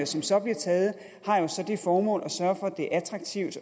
som så bliver taget har jo så det formål at sørge for at det er attraktivt